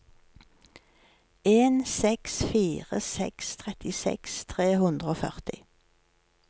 en seks fire seks trettiseks tre hundre og førti